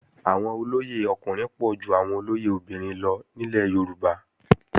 Àwọn olóyè ọkùnrin pọ̀ ju àwọn olóyè obìnrin lọ nílẹ̀ Yorùbá